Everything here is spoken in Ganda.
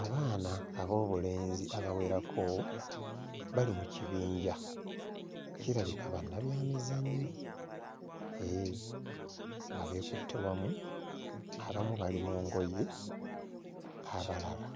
Abaana ab'obulenzi abawerako bali mu kibinja, kirabika bannabyamizannyo eeh nga beekutte wamu, abamu bali mu ngoye abalala